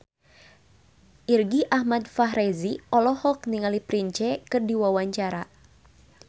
Irgi Ahmad Fahrezi olohok ningali Prince keur diwawancara